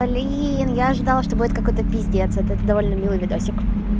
блин я ожидала что будет какой-то пиздец это довольно милый видосик